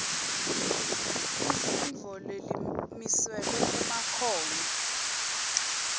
imfundvo lemiselwe emakhono